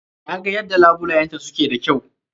Na ga yadda labulayenta su ke da kyau.